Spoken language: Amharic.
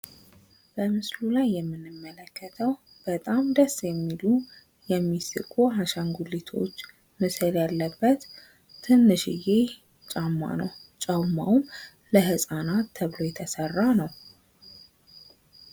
በምስሉ ላይ የምንመለከተው በጣም ደስ የሚሉ የሚስቁ አሻንጉሊቶች ምስል ያለበት ትንሽየ ጫማ ነው። ጫማውም ለህፃናት ተብሎ የተሰራ ነው።